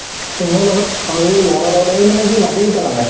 চিন্ময়ীৰ লগত, আৰু এই লʼৰা এটাৰ লগত। এই মানে কি মাটি পেলালে।